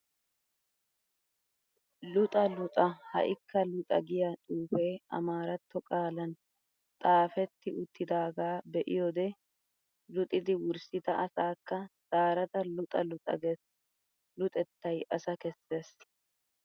Luxxa luxxa ha'ikka luxxa giya xuufee amaaratto qaalan xaafetti uttidaagaa be'iyode luxxidi wurssida asaakka zaarada luxxa luxxa gees, luxettay asa kessees.